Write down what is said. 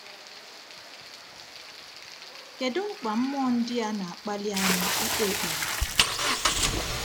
Kedu mkpa mmụọ ndị a na-akpali anyị ịkpe ekpere?